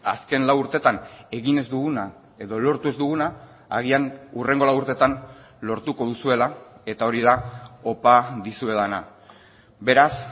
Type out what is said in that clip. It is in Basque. azken lau urteetan egin ez duguna edo lortu ez duguna agian hurrengo lau urteetan lortuko duzuela eta hori da opa dizuedana beraz